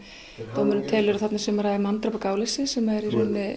dómurinn telur að þarna sé um að ræða manndráp af gáleysi sem er í